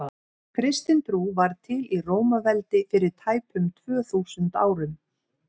kristin trú varð til í rómaveldi fyrir tæpum tvö þúsund árum